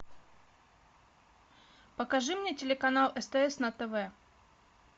покажи мне телеканал стс на тв